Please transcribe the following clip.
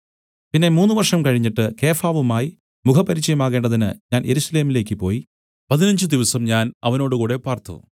പിന്നെ മൂന്ന് വർഷം കഴിഞ്ഞിട്ട് കേഫാവുമായി മുഖപരിചയമാകേണ്ടതിന് ഞാൻ യെരൂശലേമിലേക്ക് പോയി പതിനഞ്ചുദിവസം ഞാൻ അവനോടുകൂടെ പാർത്തു